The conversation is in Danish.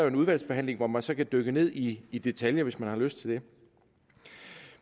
en udvalgsbehandling hvor man så kan dykke ned i i detaljen hvis man har lyst til det